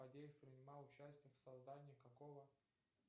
фадеев принимал участие в создании какого